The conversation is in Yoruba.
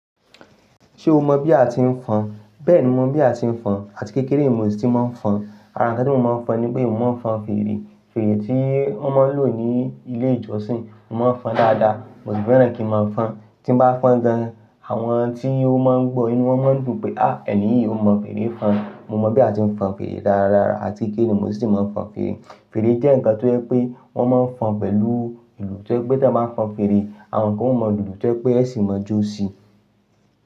Ṣé o mọ̀ bí a ti ń fọn? Bẹ́ẹ̀ni, mo mọ̀ bí a ti ń fọn àti kékeré mo sì ti máa ń fọn. Àrànkẹ́ tí mo máa ń fọn ni pé, mo máa ń fọn fèrè. Fèrè tí wọ́n máa ń lò ní ilé ìjọsìn, mo máa ń fọn dáadáa, mo sì fẹ́ràn kí ń máa fọn. Tí bá fọ́n gan, àwọn tí ó máa ń gbọ́ inú wọn máa ń dùn pé, "à, ẹ̀ní yìí ó mọ fèrè fọn". Mo mọ̀ bí a ti ń fọn fèrè dáradára àti kékeré mo sì ti máa ń fọn fèrè. Fèrè jẹ́ ǹkan tó jẹ́ pé wọ́n máa ń fọn pẹ̀lú ìlù tó jẹ́ pé tí a bá fọn fèrè, àwọn kan ó mọ ìlù tó jẹ́ pé ẹ sì máa jó sí i.